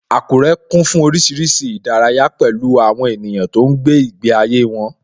Akure kún fún oríṣiríṣi ìdárayá, pẹ̀lú àwọn ènìyàn tó ń gbé ìgbé ayé wọn